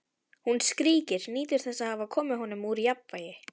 Hún skríkir, nýtur þess að hafa komið honum úr jafnvægi.